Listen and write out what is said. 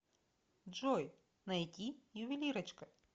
джой найти ювелирочка